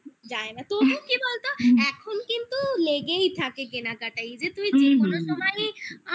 জানি না তবুও কি বলতো? এখন কিন্তু লেগেই থাকে কেনাকাটায় এই যে তুই যে কোন সময় ই